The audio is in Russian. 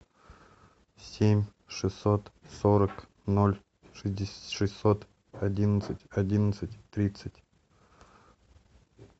семь шестьсот сорок ноль шестьсот одиннадцать одиннадцать тридцать